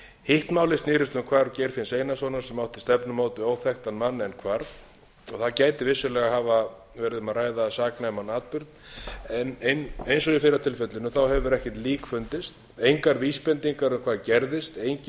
hitt málið snerist um hvarf geirfinns einarssonar sem átti stefnumót við óþekktan mann en hvarf þar gæti vissulega hafa verið um að ræða saknæman atburð en eins og í fyrra tilfellinu hefur ekkert lík fundist engar vísbendingar um hvað gerðist engin